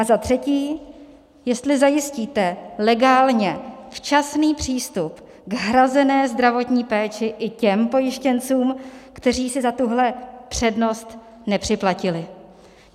A za třetí, jestli zajistíte legálně včasný přístup k hrazené zdravotní péči i těm pojištěncům, kteří si za tuhle přednost nepřiplatili.